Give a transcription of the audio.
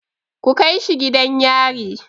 Ku kai shi gidan yari!